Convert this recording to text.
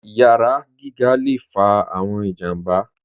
Iyàrá gígà lè fà awọn ìjàmbà.